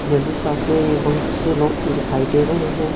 Jewellery shop में ये बहुत से लोग दिखाई दे रहे हैं।